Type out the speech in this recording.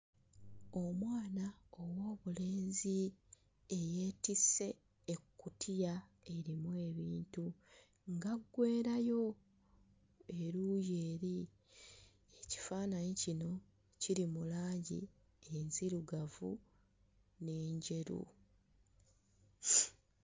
Omwana ow'obulenzi eyeetisse ekkutiya erimu ebintu ng'aggwerayo eruuyi eri. Ekifaananyi kino kiri mu langi enzirugavu n'enjeru.